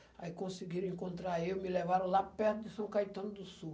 Aí conseguiram encontrar eu, me levaram lá perto de São Caetano do Sul.